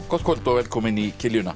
gott kvöld og velkomin í